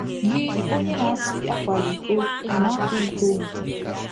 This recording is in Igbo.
Gị, onye na-asị ‘ Akwala iko, ’ ị̀ na-akwa iko?